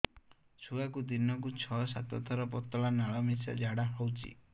ଛୁଆକୁ ଦିନକୁ ଛଅ ସାତ ଥର ପତଳା ନାଳ ମିଶା ଝାଡ଼ା ହଉଚି